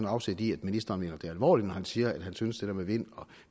afsæt i at ministeren mener det alvorligt når han siger at han synes at med vind og